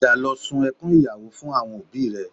Padà lọ sun ẹkún ìyàwó fún àwọn òbí rẹ